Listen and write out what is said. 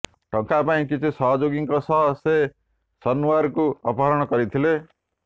ଟଙ୍କା ପାଇଁ କିଛି ସହଯୋଗୀଙ୍କ ସହ ସେ ସନୱାରକୁ ଅପହରଣ କରିଥିଲା